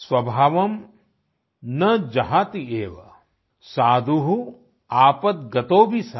स्वभावं न जहाति एव साधु आपद्रतोपी सन